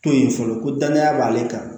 To yen fɔlɔ ko danaya b'ale kan